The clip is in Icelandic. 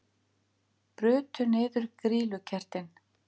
Brutu niður grýlukertin